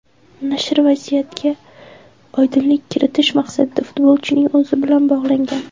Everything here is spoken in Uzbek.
Nashr vaziyatga oydinlik kiritish maqsadida futbolchining o‘zi bilan bog‘langan.